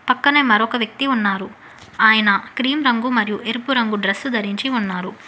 పక్కనే మరొక వ్యక్తి ఉన్నారు ఆయన క్రీం రంగు మరియు ఎరుపు రంగు డ్రెస్ ధరించి ఉన్నారు.